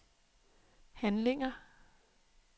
handlinger